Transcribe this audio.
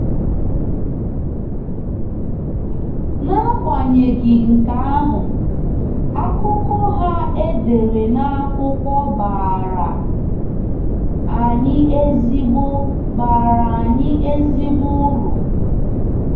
N’agbanyeghị nke ahụ, akụkọ ha e dere na akwụkwọ baara anyị ezigbo baara anyị ezigbo uru.